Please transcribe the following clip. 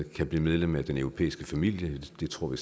kan blive medlem af den europæiske familie det tror vi